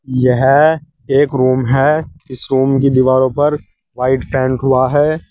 यह एक रूम है इस रूम की दीवारों पर वाइट पेंट हुआ है।